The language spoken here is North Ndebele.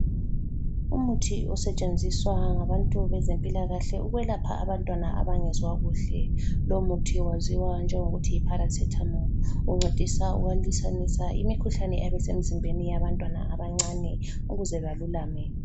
Umuthi osetshenziswa ngabantu bezempilakahle ukwelapha abantwana abangezwakuhle .Lomuthi waziwa njengokuthi yiparacetamol. Uncedisa ukulwisanisa imikhuhlane eyabisemzimbeni yabantwana abancane ukuze balulame.